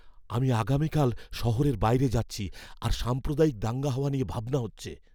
আমি আগামীকাল শহরের বাইরে যাচ্ছি, আর সাম্প্রদায়িক দাঙ্গা হওয়া নিয়ে ভাবনা হচ্ছে।